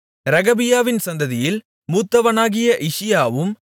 ரெகபியாவின் சந்ததியில் மூத்தவனாகிய இஷியாவும்